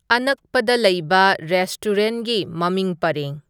ꯑꯅꯛꯄꯗ ꯂꯩꯕ ꯔꯦꯁ꯭ꯇꯨꯔꯦꯟꯒꯤ ꯃꯃꯤꯡ ꯄꯔꯦꯡ